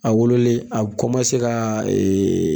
A wololen a bi kɔmase ka ee